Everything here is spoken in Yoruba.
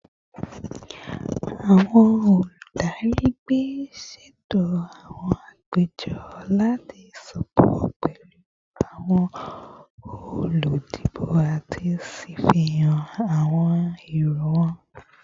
Awọn oludari ẹgbẹ ṣeto awọn apejọ lati sopọ pẹlu awọn oludibo ati ṣafihan awọn ero wọn